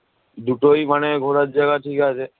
দুটোই মানে ঘোরার জায়গা ঠিক আছে